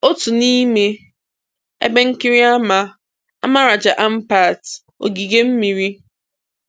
Otu n'ime ebe nkiri ama ama Raja Ampat ogige mmiri.